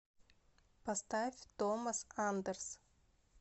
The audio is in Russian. поставь томас андерс